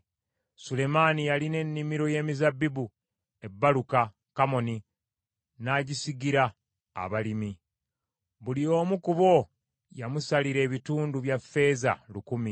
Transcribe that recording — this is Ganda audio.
Sulemaani yalina ennimiro y’emizabbibu e Baaluka Kamooni, n’agisigira abalimi. Buli omu ku bo yamusalira ebitundu bya ffeeza lukumi.